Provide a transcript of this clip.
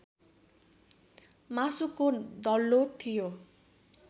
मासुको डल्लो थियो